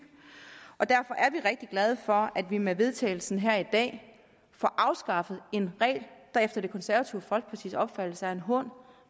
og derfor er vi rigtig glade for at vi med vedtagelse her i dag får afskaffet en regel der efter det konservative folkepartis opfattelse er en hån